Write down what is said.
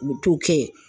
U bɛ t'o kɛ